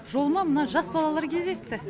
жолыма мына жас балалар кездесті